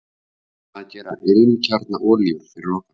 Hvað gera ilmkjarnaolíur fyrir okkur?